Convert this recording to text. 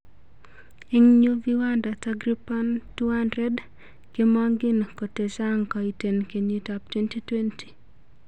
Eng nyu viwanda takriban 200 kemangin kotechang koiten kenyit ap 2020